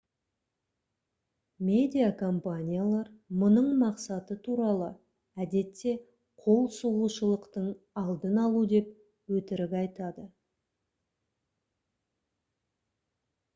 медиа компаниялар мұның мақсаты туралы әдетте «қол сұғушылықтың алдын алу» деп өтірік айтады